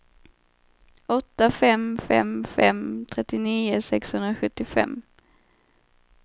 åtta fem fem fem trettionio sexhundrasjuttiofem